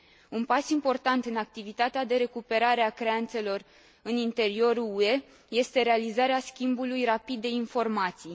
Un pas important în activitatea de recuperare a creanțelor în interiorul UE este realizarea schimbului rapid de informații.